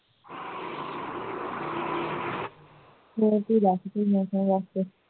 ਬਹੁਤ